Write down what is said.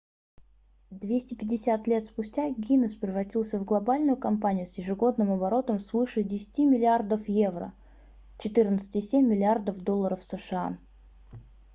250 лет спустя гиннесс превратился в глобальную компанию с ежегодным оборотом свыше 10 миллиардов евро 14,7 миллиардов долларов сша